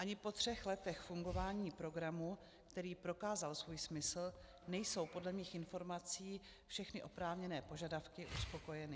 Ani po třech letech fungování programu, který prokázal svůj smysl, nejsou podle mých informací všechny oprávněné požadavky uspokojeny.